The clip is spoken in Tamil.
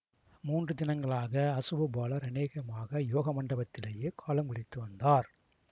மூன்று தினங்களாக அசுவபாலர் அநேகமாக யோக மண்டபத்திலேயே காலம் கழித்து வந்தார்